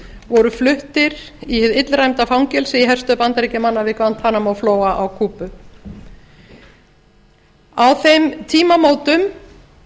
voru fluttir í hið illræmda fangelsi í herstöð bandaríkjamanna við guantanamo flóa á kúbu á þeim tímamótum